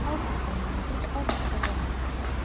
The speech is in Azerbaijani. Avqustun rəngi ağappaq ağardı.